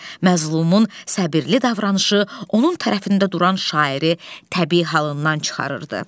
Məzlumun səbirli davranışı, onun tərəfində duran şairi təbii halından çıxarırdı.